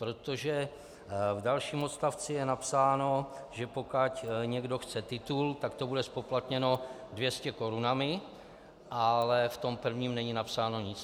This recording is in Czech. Protože v dalším odstavci je napsáno, že pokud někdo chce titul, tak to bude zpoplatněno 200 korunami, ale v tom prvním není napsáno nic.